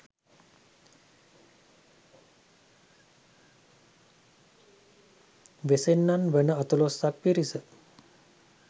වෙසෙන්නන් වන අතලොස්සක් පිරිස